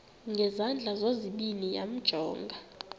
ngezandla zozibini yamjonga